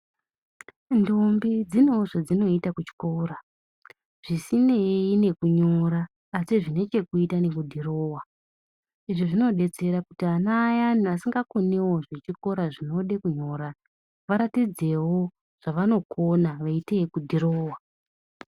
Ndombi dzinewo zvadzinoita kuchikora zvisinei nekunyora asi zvine chekuita nekudhirowa izvi zvinodetsera kuti ana ayani asingakoniwo zvechikora zvinoda kunyora varatidzewo zvawanokona veite kudhirowa.